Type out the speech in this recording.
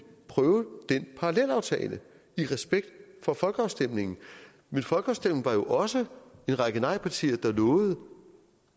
prøve den parallelaftale i respekt for folkeafstemningen men folkeafstemningen også en række nejpartier der lovede